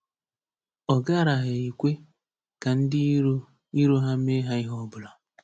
Ọ garaghị ekwe ka ndị iro iro ha mee ha ihe ọbụla.